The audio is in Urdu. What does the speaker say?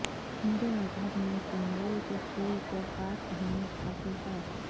ہندو مذہب میں کنول کے پھول کو خاص اہمیت حاصل ہے